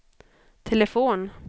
telefon